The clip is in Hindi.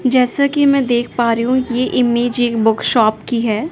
जैसा कि मैं देख पा रही हूं ये इमेज एक बुक शॉप की है।